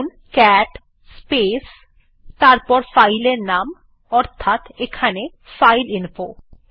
লিখুন cat space তারপর file এর নাম অর্থাৎ এখানে ফাইলইনফো